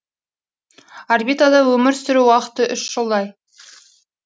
орбитада өмір сүру уақыты үш жылдай